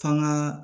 F'an ga